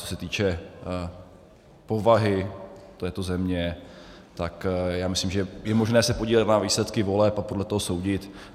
Co se týče povahy této země, tak já myslím, že je možné se podívat na výsledky voleb a podle toho soudit.